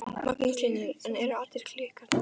Magnús Hlynur: En eru allar klukkurnar réttar?